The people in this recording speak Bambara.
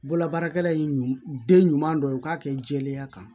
Bololabaarakɛla ye ɲuman den ɲuman dɔ ye u k'a kɛ jɛlenya kan